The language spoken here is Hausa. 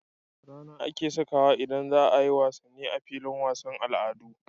RAna ake sakawa idan zaayi wasan a filin wasan al'adu